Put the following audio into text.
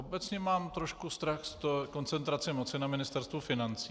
Obecně mám trošku strach z koncentrace moci na Ministerstvu financí.